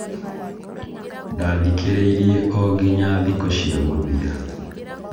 Ndathikĩrĩirie ongonya thikũ cia mũthia